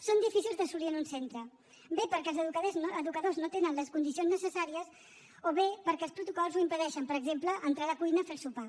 són difícils d’assolir en un centre bé perquè els educadors no tenen les condicions necessàries o bé perquè els protocols ho impedeixen per exemple entrar a la cuina a fer el sopar